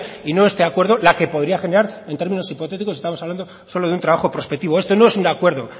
y no este acuerdo la que podría generar en términos hipotéticos estamos hablando solo de un trabajo prospectivo esto no es un acuerdo